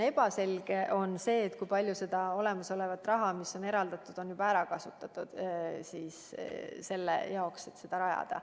Praegu pole selge, kui palju seda raha, mis on eraldatud, on juba ära kasutatud, et seda tehast rajada.